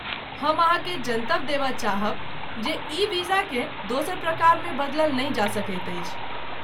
हम अहाँकेँ जनतब देबय चाहब जे ई वीजाकेँ दोसर प्रकारमे बदलल नहि जा सकैत अछि।